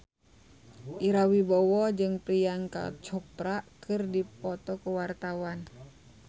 Ira Wibowo jeung Priyanka Chopra keur dipoto ku wartawan